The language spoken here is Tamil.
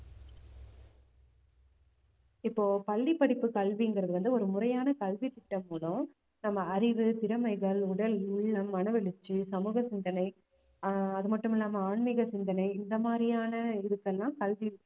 இப்போ பள்ளி படிப்பு கல்விங்கிறது வந்து ஒரு முறையான கல்வித்திட்டம் மூலம் நம்ம அறிவு, திறமைகள், உடல், உள்ளம், மனவளர்ச்சி, சமூக சிந்தனை, ஆஹ் அது மட்டும் இல்லாம ஆன்மீக சிந்தனை இந்த மாதிரியான இதுக்கெல்லாம் கல்வி